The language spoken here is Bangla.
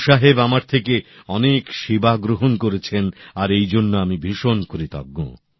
গুরু সাহেব আমার থেকে অনেক সেবা গ্রহন করেছেন আর এই জন্য আমি ভীষণ কৃতজ্ঞ